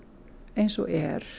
eins og er